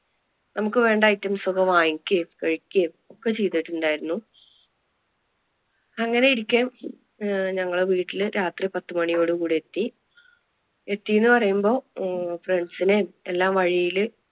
നമുക്ക് വേണ്ട items ഒക്കെ വാങ്ങിക്കുകയും കഴിക്കുകയും ഒക്കെ ചെയ്തിട്ടുണ്ടായിരുന്നു. അങ്ങനെ ഇരിക്കെ ഞങ്ങള് വീട്ടില് രാത്രി പത്തുമണിയോട് കൂടെ എത്തി, എത്തിയെന്ന് പറയുമ്പോ അഹ് friends നേം എല്ലാം വഴിയില്